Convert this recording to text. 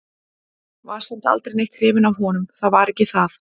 Var samt aldrei neitt hrifin af honum, það var ekki það.